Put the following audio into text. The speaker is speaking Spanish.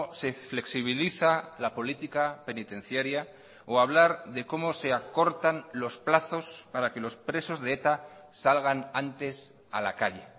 se flexibiliza la política penitenciaria o hablar de cómo se acortan los plazos para que los presos de eta salgan antes a la calle